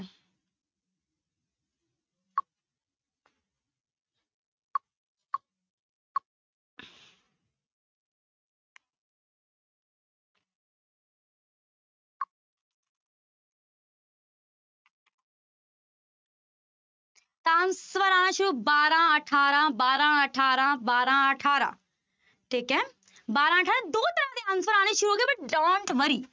ਬਾਰਾਂ, ਅਠਾਰਾਂ, ਬਾਰਾਂ, ਅਠਾਰਾਂ, ਬਾਰਾਂ, ਅਠਾਰਾਂ ਠੀਕ ਹੈ ਬਾਰਾਂ ਅੱਠ ਦੋ ਤਰ੍ਹਾਂ ਦੇ answer ਆਉਣੇ ਸ਼ੁਰੂ ਹੋ ਗਏ but don't worry